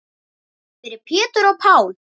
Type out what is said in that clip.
Fyrir Pétur og Pál.